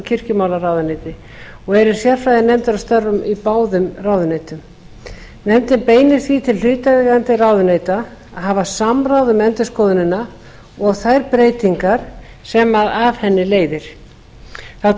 kirkjumálaráðuneyti og eru sérfræðinefndir að störfum í báðum ráðuneytum nefndin beinir því til hlutaðeigandi ráðuneyta að hafa samráð um endurskoðunina og þær breytingar sem af henni leiðir þá